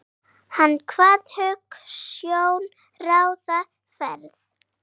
Hann kvað hugsjón ráða ferð.